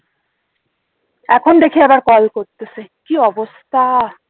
এখন দেখি আবার কল করতেছে কি অবস্থা